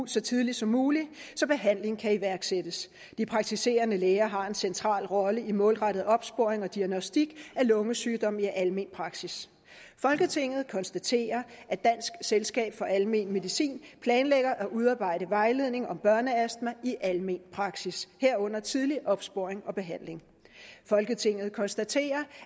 så tidligt som muligt så behandling kan iværksættes de praktiserende læger har en central rolle i målrettet opsporing og diagnostik af lungesygdom i almen praksis folketinget konstaterer at dansk selskab for almen medicin planlægger at udarbejde vejledning om børneastma i almen praksis herunder tidlig opsporing og behandling folketinget konstaterer